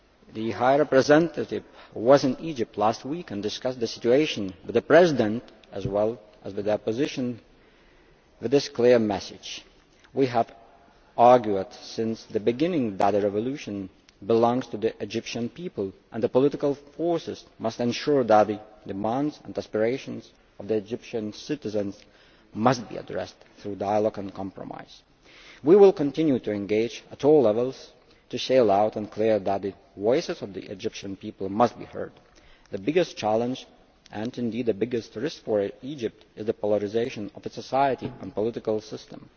The High Representative was in Egypt last week and discussed the situation with the President, as well as with the Opposition, with this clear message We have argued since the beginning that the revolution belongs to the Egyptian people. The political forces must ensure that the demands and aspirations of the Egyptian citizens must be addressed through dialogue and compromise. We will continue to engage at all levels to say loud and clear that the voices of the Egyptian people must be heard. The biggest challenge, and indeed the biggest risk for Egypt, is the polarisation of its society and political system.